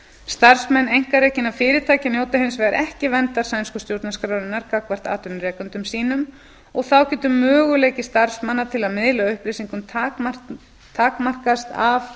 starfsmenn einkarekinna fyrirtækja njóta hinsvegar ekki verndar sænsku stjórnarskrárinnar gagnvart atvinnuveitendum sínum og þá getur möguleiki starfsmanna til að miðla upplýsingum takmarkast af